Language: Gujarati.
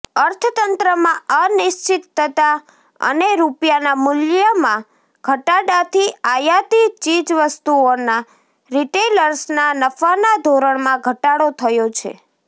અર્થતંત્રમાં અનિશ્ચિતતા અને રૂપિયાના મૂલ્યમાં ઘટાડાથી આયાતી ચીજવસ્તુઓના રિટેલર્સના નફાના ધોરણમાં ઘટાડો થયો છે